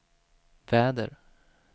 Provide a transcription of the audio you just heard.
väder